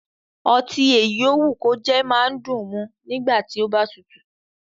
Ọtí èyí ó wù kó jẹ́ máa dùn mu nígbà tí ó bá tutù